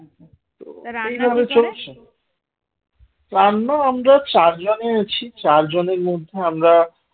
রান্না আমরা চারজনে আছি চারজনের মধ্যে আমরা